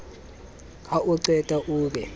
ha o qeta o be